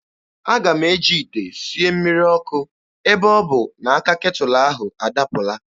Aga m eji ite sie mmiri ọkụ ebe ọ bụ na aka ketụlụ ahụ adapụla.